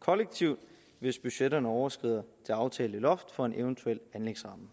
kollektivt hvis budgetterne overskrider det aftalte loft for en eventuel anlægsramme